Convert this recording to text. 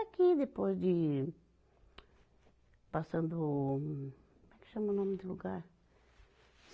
É aqui, depois de Passando Como é que chama o nome do lugar?